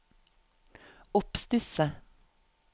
oppstusset